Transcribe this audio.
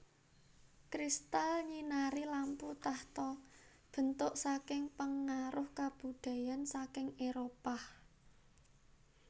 Crystal nyinari lampu tahta bentuk saking pengaruh kabudayan saking Éropah